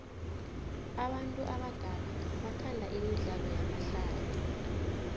abantu abadala bathanda imidlalo yamahlaya